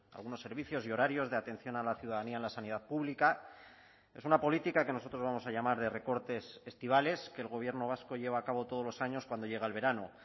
algunos servicios y horarios de atención a la ciudadanía en la sanidad pública es una política que nosotros vamos a llamar de recortes estivales que el gobierno vasco lleva a cabo todos los años cuando llega el verano